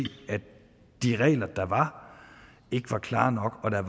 at de regler der var ikke var klare nok og at der